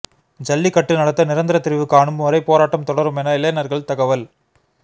ஜல்லிக்கட்டு நடத்த நிரந்தர தீர்வு காணும் வரை போராட்டம் தொடரும் என இளைஞர்கள் தகவல்